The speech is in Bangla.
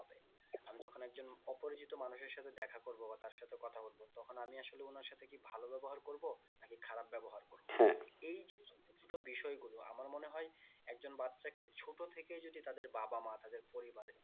আমি যখন একজন অপরিচিত মানুষের সাথে দেখা করবো বা তার সাথে কথা বলবো তখন আমি আসলে কি ওনার সাথে কি ভালো ব্যবহার করবো নাকি খারাপ ব্যবহার এই যে ছোটো ছোটো বিষয় গুলো আমার মনে হয় একজন বাচ্চাকে ছোটো থেকে যদি তাদের বাবা মা তাদের পরিবার